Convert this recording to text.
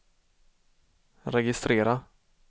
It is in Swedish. registrera